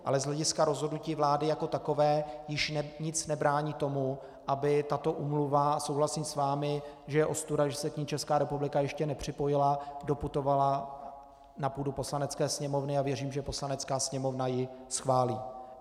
Ale z hlediska rozhodnutí vlády jako takové již nic nebrání tomu, aby tato úmluva - souhlasím s vámi, že je ostuda, že se k ní Česká republika ještě nepřipojila - doputovala na půdu Poslanecké sněmovny, a věřím, že Poslanecká sněmovna ji schválí.